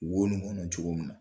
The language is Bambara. Wo ni kɔnɔ cogo min na